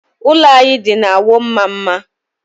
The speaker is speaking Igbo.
Ụlọ anyị dị na Awọ Mmamma.